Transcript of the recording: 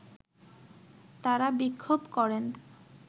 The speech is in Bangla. তারা বিক্ষোভ করেন